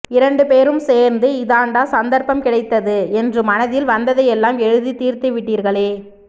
இரண்டு பேரும் சேர்ந்து இதாண்டா சந்தர்ப்பம் கிடைத்தது என்று மனதில் வந்ததையெல்லாம் எழுதித் தீர்த்துவிட்டீர்களே